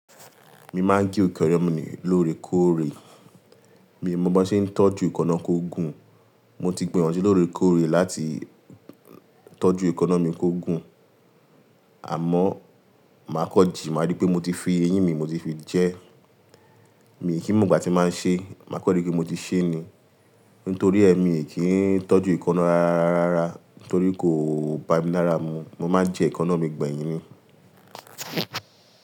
Mi máa ń gé eekana mi lóòrèkóòrè, mi ò mọ̀ bi won ṣe ń tọ́jú èekana kó gùn. Mo ti gbìyànjú lóòrèkóòrè láti tọ́jú èkóná mi kó gùn àmọ́ màá kan jì, màá rí pé mo ti fi eyín mi, mo ti fi jẹ ẹ́. Míi kí n mò igbà tí màá ń ṣe, màá kan rí pé mo ti ṣe ni. Nítorí ẹ mi kì í tọ́jú èekaná rárárárá, torí kò bá mi lára mu. Mo máa ń jẹ èekaná mi gbẹ̀yìn ni.